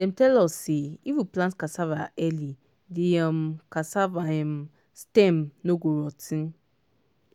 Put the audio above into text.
dem tell us say if we plant cassava early the um cassava um stem no go rot ten.